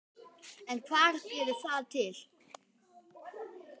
En hvað gerir það til